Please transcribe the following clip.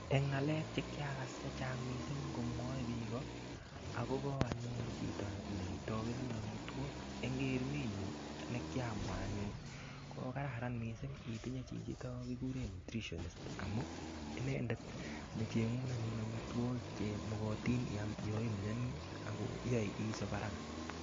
Eng' ng'alek chekiakas chechang' mising' komwoei biko akobo anyun chito netopenun omitwok eng' kerunenyu nekiamwa anyun ko kararan mising' itinye chichito kikure nutritionist amu inendet necheng'un anyun omitwokik chemokotin anyun iyam yo imiyoni ako yoei isop araka